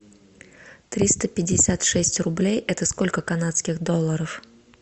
триста пятьдесят шесть рублей это сколько канадских долларов